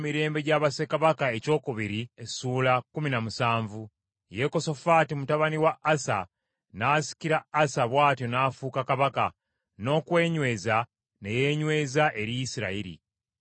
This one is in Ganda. Yekosafaati mutabani wa Asa n’asikira Asa bw’atyo n’afuuka kabaka, n’okwenyweza ne yeenyweza eri Isirayiri.